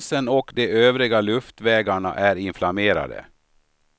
Halsen och de övre luftvägarna är inflammerade.